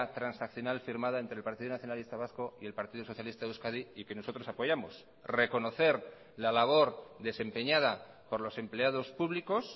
transaccional firmada entre el partido nacionalista vasco y el partido socialista de euskadi y que nosotros apoyamos reconocer la labor desempeñada por los empleados públicos